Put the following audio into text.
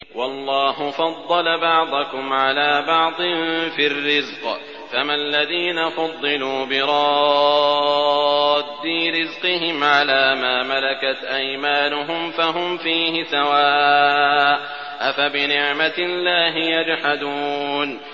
وَاللَّهُ فَضَّلَ بَعْضَكُمْ عَلَىٰ بَعْضٍ فِي الرِّزْقِ ۚ فَمَا الَّذِينَ فُضِّلُوا بِرَادِّي رِزْقِهِمْ عَلَىٰ مَا مَلَكَتْ أَيْمَانُهُمْ فَهُمْ فِيهِ سَوَاءٌ ۚ أَفَبِنِعْمَةِ اللَّهِ يَجْحَدُونَ